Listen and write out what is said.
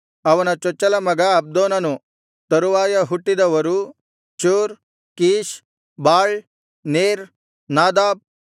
ಅವನ ಚೊಚ್ಚಲ ಮಗ ಅಬ್ದೋನನು ತರುವಾಯ ಹುಟ್ಟಿದವರು Zur Kish Baal Ner Nadab